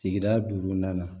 Sigida duurunan na